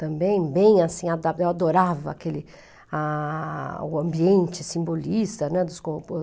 Também, bem assim, eu adorava aquele ah, ambiente simbolista, né, dos